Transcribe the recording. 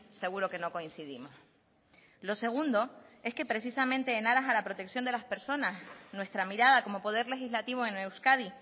seguro que no coincidimos lo segundo es que precisamente en aras a la protección de las personas nuestra mirada como poder legislativo en euskadi